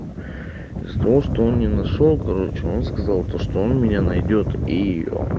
за то что он не нашёл короче он сказал то что он меня найдёт и ээ